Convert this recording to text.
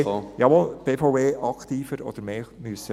... die BVE hätte aktiver werden oder mehr dazu sagen müssen.